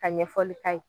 Ka ɲɛfɔli k'a ye